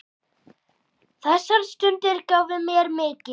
Þessar stundir gáfu mér mikið.